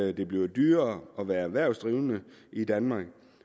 at det bliver dyrere at være erhvervsdrivende i danmark